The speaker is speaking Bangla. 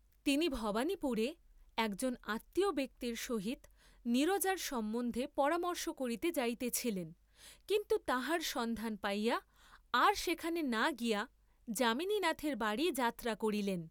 তিনি ভবানীপুরে একজন আত্মীয় ব্যক্তির সহিত নীরজার সম্বন্ধে পরামর্শ করিতে যাইতেছিলেন, কিন্তু তাহার সন্ধান পাইয়া আর সেখানে না গিয়া, যামিনীনাথের বাড়ীই যাত্রা করিলেন।